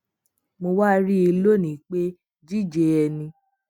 mo wá rí i lónìí pé jíjé ẹni